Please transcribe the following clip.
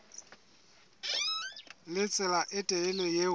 le tsela e telele eo